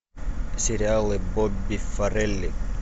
сериалы бобби форели